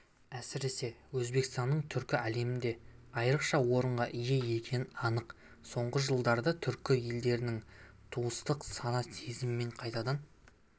әсіресе өзбекстанның түркі әлемінде айрықша орынға ие екені анық соңғы жылдарда түркі елдерінің туыстық сана-сезімін қайтадан